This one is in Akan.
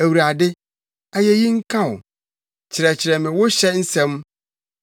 Awurade, ayeyi nka wo; kyerɛkyerɛ me wo hyɛ nsɛm.